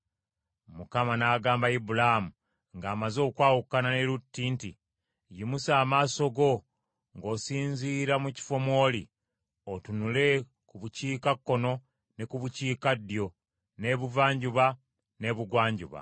Mukama n’agamba Ibulaamu ng’amaze okwawukana ne Lutti nti, “Yimusa amaaso go ng’osinziira mu kifo mw’oli, otunule ku bukiikakkono, ne ku bukiikaddyo, n’ebuvanjuba n’ebugwanjuba;